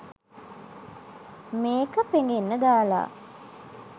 මේක පෙඟෙන්න දාලා